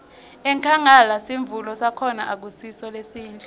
enkhangala sivuno sakhona akusiso lesihle